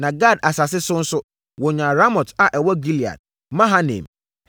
Na Gad asase so nso, wɔnyaa Ramot a ɛwɔ Gilead, Mahanaim,